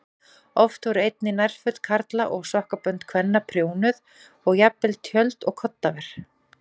Oft voru einnig nærföt karla og sokkabönd kvenna prjónuð og jafnvel tjöld og koddaver.